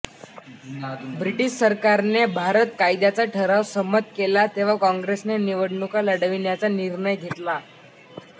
British सरकारने भारत कायद्याचा ठराव संमत केला तेव्हा काँग्रेसने निवडणुका लढविण्याचा निर्णय घेतला